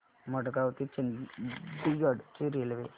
मडगाव ते चंडीगढ ची रेल्वे